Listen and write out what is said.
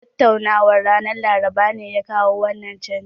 Tattaunawan ranar Laraba ne ya kawo wannan canji